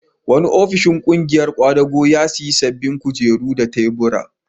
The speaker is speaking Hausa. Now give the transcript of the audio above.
Wani ofishin ƙungiyar ƙwadago ya sayi sabbin kujeru da tubura.